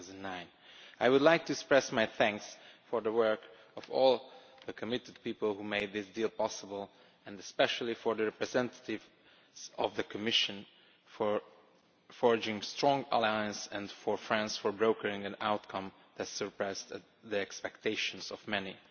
2009. I would like to express my thanks for the work of all the committed people who made this deal possible and, especially, the representative of the Commission for forging a strong alliance and France for brokering an outcome that surpassed the expectations of many.